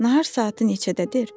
Nahar saat neçədədir?